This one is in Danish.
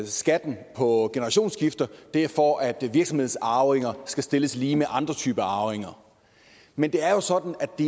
skatten på generationsskifte er for at virksomhedsarvinger skal stilles lige med andre typer af arvinger men det er jo sådan at det